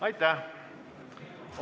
Aitäh!